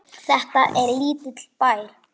Þetta er lítill bær.